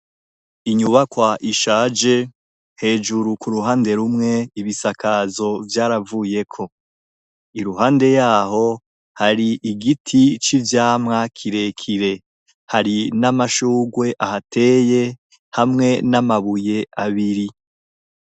Inyubakwa ishaje hejuru ku uruhande rumwe ibisakazo byaravuye ko iruhande yaho hari igiti c'ivyamwa kirekire hari n'amashugwe ahateye hamwe n'amabuye abiri.